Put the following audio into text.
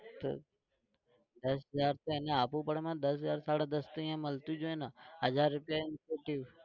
તો દસ હાજર તો એને આપવું પડે ને દસ હાજર સાડા દસ તો અહીંયા મળતું જ હોય ને હજાર રૂપિયા incentive